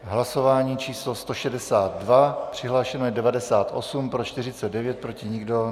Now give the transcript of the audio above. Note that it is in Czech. Hlasování číslo 162, přihlášeno je 98, pro 49, proti nikdo.